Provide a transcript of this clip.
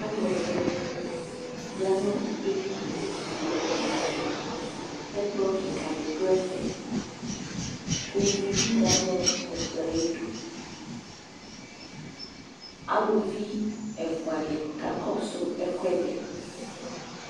Alʋɛdɩnɩ ya nʋ edini dɩ Ɛkplɔ kɩka dɩ dʋ ɛfɛ kʋ uvi dɩ ya nʋ ɛkplɔ yɛ ayɩdu Aluvi ɛfʋa dɩ kakɔsʋ ɛkʋɛdɩ